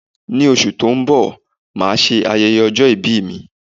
Ní oṣù tí ó ń bọ̀, máà ṣe ayẹyẹ ọjọ́ ìbí mi